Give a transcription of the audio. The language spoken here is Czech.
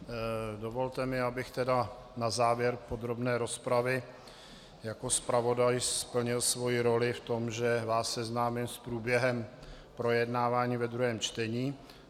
Dovolte mi, abych tedy na závěr podrobné rozpravy jako zpravodaj splnil svoji roli v tom, že vás seznámím s průběhem projednávání ve druhém čtení.